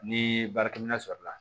Ni baarakɛminɛn sɔrɔla